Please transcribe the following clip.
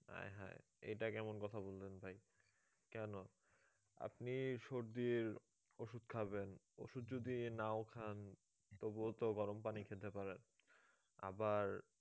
আয়ে হায়ে এটা কেমন কথা বললেন ভাই কেন আপনি সর্দির ওষুধ খাবেন ওষুধ যদি নাও খান তবুও তো গরম পানি খেতে পারেন আবার